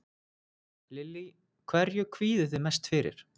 Lillý: Hverju kvíðið þið mest fyrir?